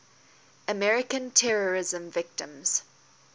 american terrorism victims